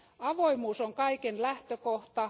Avoimuus on kaiken lähtökohta.